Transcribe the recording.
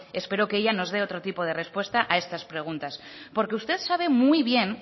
espero que ellas nos de otro tipo de respuesta a estas preguntas porque usted sabe muy bien